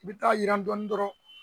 N bi taa yiran dɔɔnin dɔrɔn